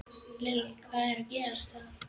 Lillý: Hvað á að gera það?